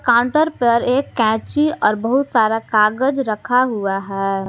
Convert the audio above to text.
Counter पर एक कैची और बहुत सारा कागज़ रखा हुआ है।